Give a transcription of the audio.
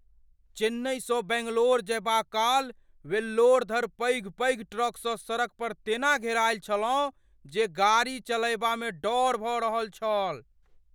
चेन्नइसँ बैंगलोर जयबाक काल, वेल्लोर धरि पैघ पैघ ट्रकसँ सड़क पर तेना घेरायल छलहुँ जे गाड़ी चलयबामे डर भऽ रहल छल।